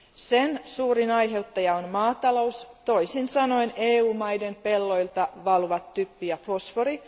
Sen suurin aiheuttaja on maatalous, toisin sanoen EU maiden pelloilta valuvat typpi ja fosfori.